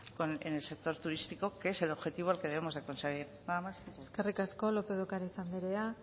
en el sector turístico que es el objetivo que debemos de conseguir nada más muchas gracias eskerrik asko lópez de ocariz anderea